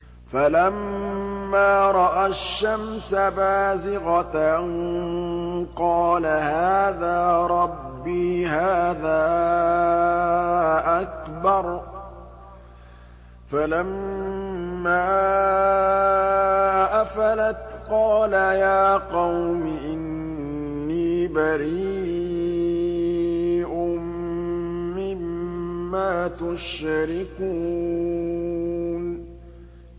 فَلَمَّا رَأَى الشَّمْسَ بَازِغَةً قَالَ هَٰذَا رَبِّي هَٰذَا أَكْبَرُ ۖ فَلَمَّا أَفَلَتْ قَالَ يَا قَوْمِ إِنِّي بَرِيءٌ مِّمَّا تُشْرِكُونَ